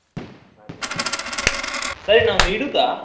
ಹಾಗೆ ಆಯ್ತು ಸರಿ ನಾನ್ ಒಂದು ಇಡುದಾ?